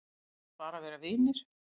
Segjast bara vera vinir